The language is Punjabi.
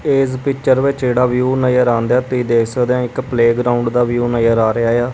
ਇਸ ਪਿਚਰ ਵਿੱਚ ਜਿਹੜਾ ਵਿਊ ਨਜ਼ਰ ਆਉਣ ਦਿਆ ਤੁਸੀਂ ਦੇਖ ਸਕਦੇ ਹੈ ਇੱਕ ਪਲੇਗਰਾਊਂਡ ਦਾ ਵਿਊ ਨਜ਼ਰ ਆ ਰਿਹਾ ਆ।